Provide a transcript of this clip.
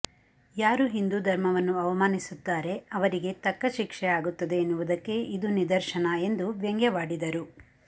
ಯಾರು ಹಿಂದೂ ಧರ್ಮವನ್ನು ಅವಮಾನಿಸುತ್ತಾರೆ ಅವರಿಗೆ ತಕ್ಕ ಶಿಕ್ಷೆ ಆಗುತ್ತದೆ ಎನ್ನವುದಕ್ಕೆ ಇದು ನಿದರ್ಶನ ಎಂದು ವ್ಯಂಗ್ಯವಾಡಿದರು